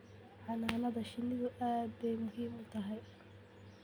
Xannaanada shinnidu aad bay muhiim u tahay.